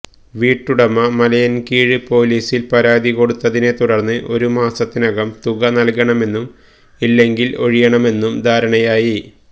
വീട്ടുടമ മലയിൻകീഴ് പൊലീസിൽ പരാതികൊടുത്തതിനെത്തുടർന്ന് ഒരു മാസത്തിനകം തുക നൽകണമെന്നും ഇല്ലെങ്കിൽ ഒഴിയണമെന്നും ധാരണയായി